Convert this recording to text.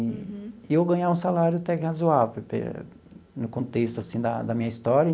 E eu ganhava um salário até que razoável, no contexto assim da da minha história.